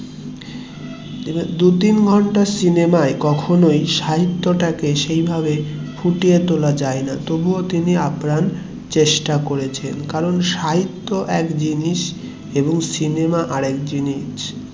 দু তিন ঘন্টার সিনেমায় কখনোই সাহিত্যটাকে সেইভাবে ফুটিয়ে তোলা যায় না তবু ও তিনি আপ্রাণ চেষ্টা করেছেন এবং সিনেমা আর এক জিনিস